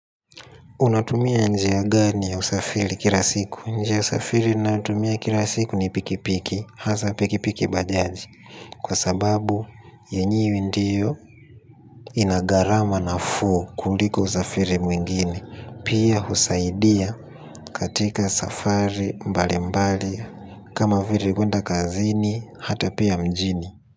Unatumia njia gani ya usafiri kila siku? Njia ya usafiri ninayotumia kila siku ni pikipiki, hasaa pikipiki bajaji. Kwa sababu, yenyewe ndiyo inagarama nafuu kuliko usafiri mwingine. Pia husaidia katika safari mbalimbali, kama vile kuenda kazini, hata pia mjini.